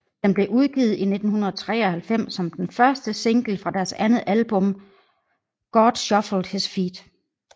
Den blev udgivet i 1993 som den første single fra deres andet album God Shuffled His Feet